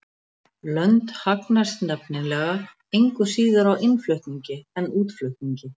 Lönd hagnast nefnilega engu síður á innflutningi en útflutningi.